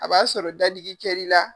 A b'a sɔrɔ dadigi kɛr'i la